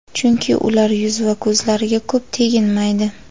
chunki ular yuz va ko‘zlariga ko‘p teginmaydi.